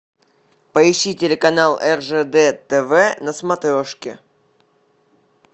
поищи телеканал ржд тв на смотрешке